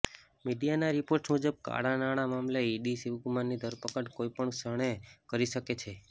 મીડિયાના રિપોર્ટ્સ મુજબ કાળા નાણા મામલે ઇડી શિવકુમારની ધરપકડ કોઇપણ ક્ષણે કરી શકે છે